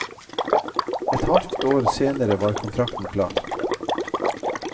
Et halvt år senere var kontrakten klar.